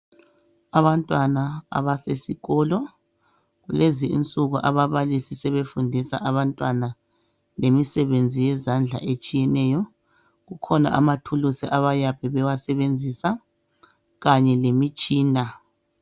Abantwana abasesikolo lezi insuku ababalisi sebefundisa abantwana lemisebenzi yezandla ezitshiyeneyo kukhona amathuluzi abayabe bewasebenzisa kanye lemitshina.